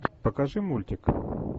покажи мультик